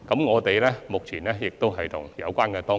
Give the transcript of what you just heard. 我們目前正諮詢有關當局。